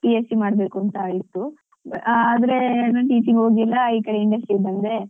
B. Sc. ಮಾಡ್ಬೇಕು ಅಂತ ಇತ್ತುಆದ್ರೆ ನಾನು teaching ಗೆ ಹೋಗಿಲ್ಲ ಈ ಕಡೆ MNC ಬಂದೆ